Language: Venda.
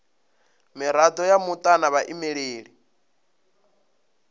mirado ya muta na vhaimeleli